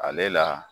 Ale la